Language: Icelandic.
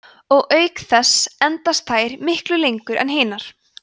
og auk þess endast þær miklu lengur en hinar